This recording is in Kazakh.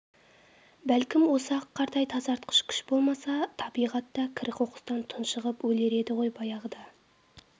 бәлкім осы ақ қардай тазартқыш күш болмаса табиғат та кір-қоқыстан тұншығып өлер еді ғой баяғыда